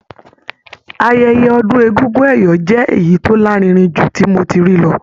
Ayẹyẹ ọdún egúngún ẹ̀yọ̀ jẹ́ èyí tó lárinrin jù tí mo ti rí lọ.